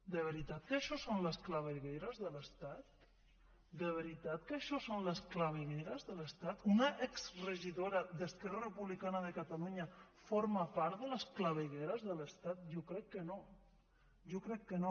de veritat que això són les clavegueres de l’estat de veritat que això són les clavegueres de l’estat una exregidora d’esquerra republicana de catalunya forma part de les clavegueres de l’estat jo crec que no jo crec que no